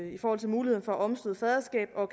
i forhold til muligheden for at omstøde faderskab og